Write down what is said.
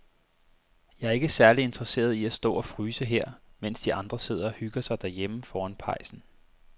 Jeg er ikke særlig interesseret i at stå og fryse her, mens de andre sidder og hygger sig derhjemme foran pejsen.